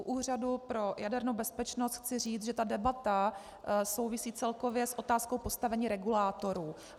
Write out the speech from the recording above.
U úřadu pro jadernou bezpečnost chci říct, že ta debata souvisí celkově s otázkou postavení regulátorů.